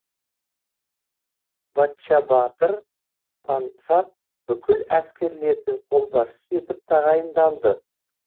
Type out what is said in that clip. баччабатыр пансат бүкіл әскерлердің қолбасшысы етіп тағайындалды